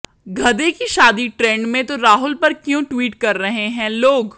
गधे की शादी ट्रेंड में तो राहुल पर क्यों ट्वीट कर रहे हैं लोग